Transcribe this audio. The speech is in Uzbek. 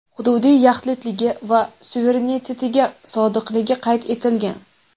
hududiy yaxlitligi va suverenitetiga sodiqligi qayd etilgan.